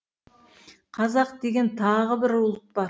қазақ деген тағы бір ұлт бар